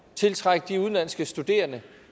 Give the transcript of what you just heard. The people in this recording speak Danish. tiltrække de udenlandske studerende